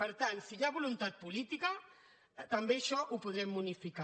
per tant si hi ha voluntat política també això ho podrem unificar